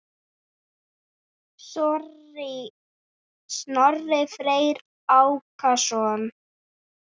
Snorri Freyr Ákason.